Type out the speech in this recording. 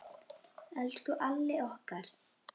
Elsku Alli okkar.